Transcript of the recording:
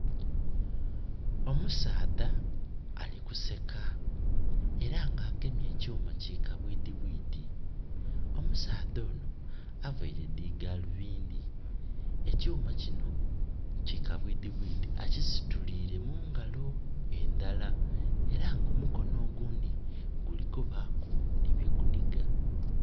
Omusaadha ali kuseka, era nga agemye ekyuuma ki kabwiidhibwiidhi. Omusaadha onho availe dhi galubindi. Ekyuuma kino ki kabwiidhibwiidhi akisituliire mungalo endala. Era nga omukono ogundhi guli kubaaku nhi byegunhiga.